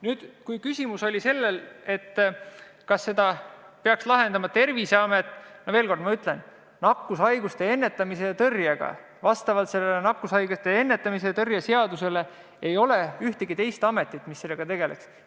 Nüüd, kui küsimus oli selles, kas seda olukorda peaks lahendama Terviseamet, siis ma ütlen veel kord, et vastavalt nakkushaiguste ennetamise ja tõrje seadusele ei ole ühtegi teist ametit, mis tegeleks nakkushaiguste ennetamise ja tõrjega.